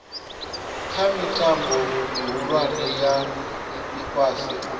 kha mitambo mihulwane ya ifhasi